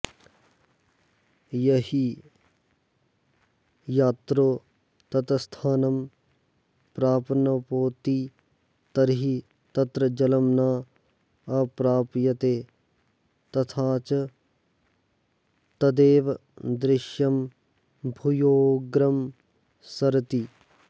यहि यात्रो तत्स्थानं प्राप्नोति तर्हि तत्र जलं न् अप्राप्यते तथाच तदेव दृश्यं भूयोऽग्रं सरति